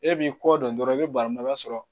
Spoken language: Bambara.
E b'i kɔ dɔn dɔrɔn i be bara mun na i b'a sɔrɔ